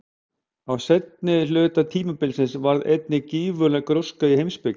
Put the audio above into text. Á seinni hluta tímabilsins varð einnig gífurleg gróska í heimspeki.